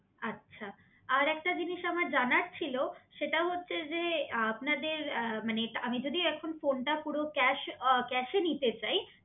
আচ্ছা আর একটা জিনিস আমার জানা ছিলো সেটাও হচ্ছে যে আপনাদের মানে আমি যদি এখন ফোনটা পুরো ক্যাশ নিতে চাই